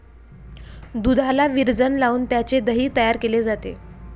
दुधाला विरजण लावून त्याचे दही तयार केले जाते.